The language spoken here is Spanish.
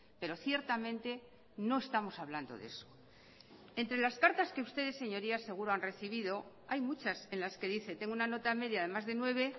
pero ciertamente no estamos hablando de eso entre las cartas que ustedes señorías seguro han recibido hay muchas en las que dice tengo una nota media de más de nueve